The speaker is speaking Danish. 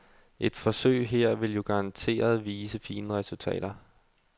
Et forsøg her vil jo garanteret vise fine resultater.